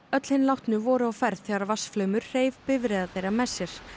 öll hin látnu voru á ferð þegar vatnsflaumur hreif bifreiðar þeirra með sér